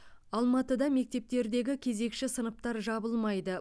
алматыда мектептердегі кезекші сыныптар жабылмайды